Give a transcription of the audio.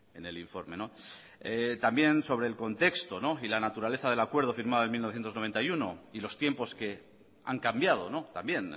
en el informe también sobre el contexto y la naturaleza del acuerdo firmado en mil novecientos noventa y uno y los tiempos que han cambiado también